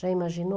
Já imaginou?